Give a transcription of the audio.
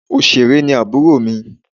Òṣèré ni àbúrò mi.